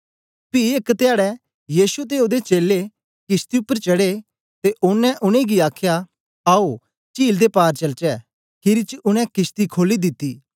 पी एक धयाडै यीशु ते ओदे चेलें किशती उपर चढ़े ते ओनें उनेंगी आखया आओ चील दे पार चलचे खीरी च उनै किशती खोली दिती